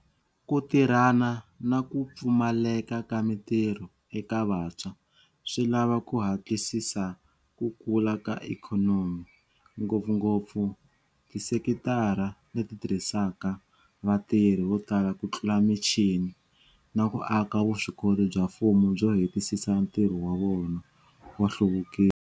Ku tirhana na ku pfumaleka ka mitirho eka vantshwa swi lava ku hatlisisa ku kula ka ikhonomi, ngopfungopfu tisekitara leti tirhisaka vatirhi vo tala kutlula michini, na ku aka vuswikoti bya mfumo byo hetisisa ntirho wa wona wa nhluvukiso.